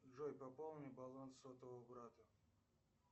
джой пополни баланс сотового брата